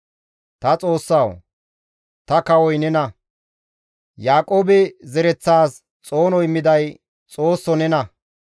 Ta Xoossawu ta kawoy nena; Yaaqoobe zereththaas xoono immiday Xoosso nena.